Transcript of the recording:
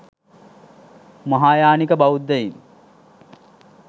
මහායානික බෞද්ධයින්